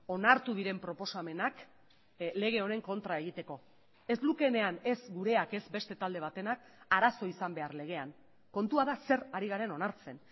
onartu diren proposamenak lege honen kontra egiteko ez lukeenean ez gureak ez beste talde batenak arazo izan behar legean kontua da zer ari garen onartzen